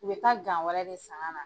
U bɛ ka wɛrɛ de san ka na.